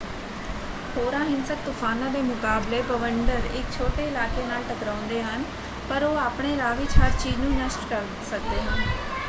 ਹੋਰਾਂ ਹਿੰਸਕ ਤੂਫਾਨਾਂ ਦੇ ਮੁਕਾਬਲੇ ਬਵੰਡਰ ਇੱਕ ਛੋਟੇ ਇਲਾਕੇ ਨਾਲ ਟਕਰਾਉਂਦੇ ਹਨ ਪਰ ਉਹ ਆਪਣੇ ਰਾਹ ਵਿੱਚ ਹਰ ਚੀਜ਼ ਨੂੰ ਨਸ਼ਟ ਕਰ ਸਕਦੇ ਹਨ।